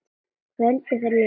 Kvöldið fyrir lengsta daginn.